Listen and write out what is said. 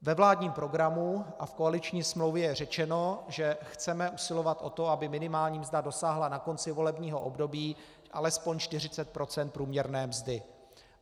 Ve vládním programu a v koaliční smlouvě je řečeno, že chceme usilovat o to, aby minimální mzda dosáhla na konci volebního období alespoň 40 % průměrné mzdy.